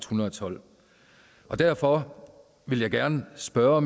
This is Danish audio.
hundrede og tolv derfor vil jeg gerne spørge